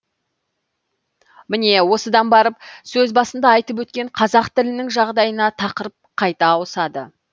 міне осыдан барып сөз басында айтып өткен қазақ тілінің жағдайына тақырып қайта ауысады